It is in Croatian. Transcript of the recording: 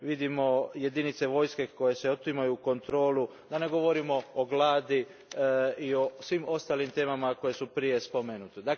Vidimo jedinice vojske koje se otimaju kontroli, da ne govorimo o gladi i o svim ostalim temama koje su prije spomenute.